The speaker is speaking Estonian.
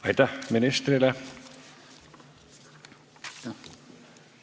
Aitäh ministrile!